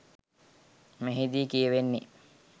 මෙහිදී කියවෙන්නේ